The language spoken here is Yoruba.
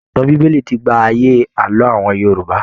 Ìtàn bíbélì ti gba àyè Àlọ awọn Yorùbá.